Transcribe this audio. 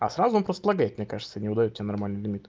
а сразу он просто лагает мне кажется не выдаёт тебе нормальный лимит